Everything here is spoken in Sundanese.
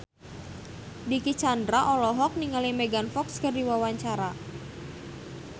Dicky Chandra olohok ningali Megan Fox keur diwawancara